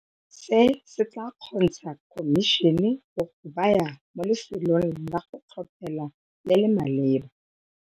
Se se tla kgontsha khomišene go go baya mo lefelong la go tlhophela le le maleba.